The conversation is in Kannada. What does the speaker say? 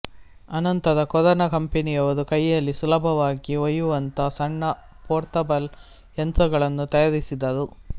ಅನಂತರ ಕೊರೊನಾ ಕಂಪೆನಿಯವರು ಕೈಯಲ್ಲಿ ಸುಲಭವಾಗಿ ಒಯ್ಯುವಂಥ ಸಣ್ಣ ಪೋರ್ಟಬಲ್ ಯಂತ್ರಗಳನ್ನು ತಯಾರಿಸಿದರು